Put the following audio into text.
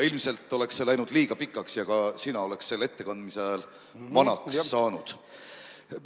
Ilmselt oleks see läinud liiga pikaks ja ka sina oleks selle ettekandmise ajal vanaks saanud.